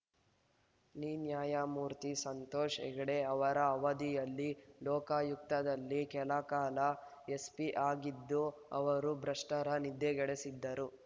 ನಿನ್ಯಾಯಮೂರ್ತಿ ಸಂತೋಷ್‌ ಹೆಗ್ಡೆ ಅವರ ಅವಧಿಯಲ್ಲಿ ಲೋಕಾಯುಕ್ತದಲ್ಲಿ ಕೆಲಕಾಲ ಎಸ್ ಪಿ ಆಗಿದ್ದ ಅವರು ಭ್ರಷ್ಟರ ನಿದ್ದೆಗೆಡಿಸಿದ್ದರು